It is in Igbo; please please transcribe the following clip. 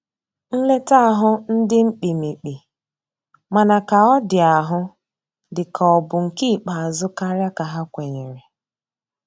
Nleta ahu ndi mkpimikpi, mana ka ọ di ahụ di ka ọ bụ nke ikpeazu karia ka ha kwenyere.